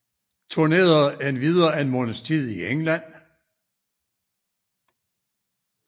Turnerede endvidere en måneds tid i England